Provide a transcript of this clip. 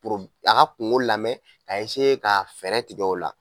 poro a ka kungo lamɛn k'a eseye ka fɛɛrɛ tigɛ o la